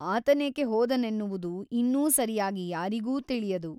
ಆತನೇಕೆ ಹೋದನೆನ್ನುವುದು ಇನ್ನೂ ಸರಿಯಾಗಿ ಯಾರಿಗೂ ತಿಳಿಯದು.